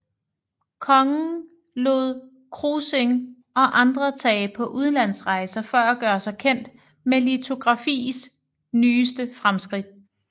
Kongen lod Krossing og andre tage på udlandsrejser for at gøre sig kendt med litografis nyeste fremskridt